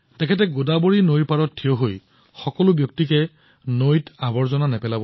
তেওঁ গোদাৱৰী নদীৰ ওচৰত থিয় হয় আৰু নিৰন্তৰভাৱে মানুহক নদীত আৱৰ্জনা নিক্ষেপ নকৰিবলৈ অনুপ্ৰেৰিত কৰে